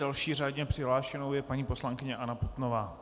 Další řádně přihlášenou je paní poslankyně Anna Putnová.